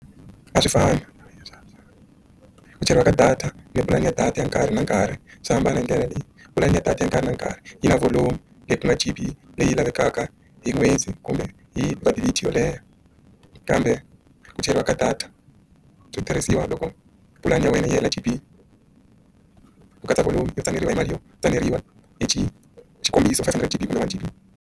A swi fani ku cheriwa ka data ni pulani ya data ya nkarhi na nkarhi swi hambana hi ndlela leyi pulani ya data ya nkarhi na nkarhi yi na volomu leyi ku nga tsipi leyi lavekaka hi khweza kumbe hi yolehha kambe ku cheriwa ka data byo tirhisiwa loko pulani ya wena yi hela GB ku katsa kolomu yo tsakeriwa hi mali yo tsakeriwa i xikombiso five hundred G kumbe five G.